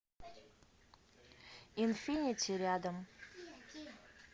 инфинити рядом